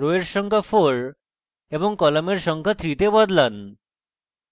rows এর সংখ্যা 4 এবং কলামের সংখ্যা 3 তে বদলান